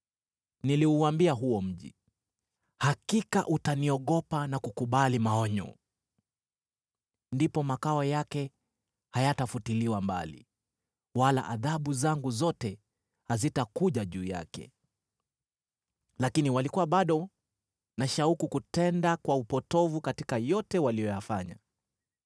Niliuambia huo mji, ‘Hakika utaniogopa na kukubali maonyo!’ Ndipo makao yake hayatafutiliwa mbali, wala adhabu zangu zote hazitakuja juu yake. Lakini walikuwa bado na shauku kutenda kwa upotovu katika yote waliyofanya.”